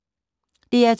DR2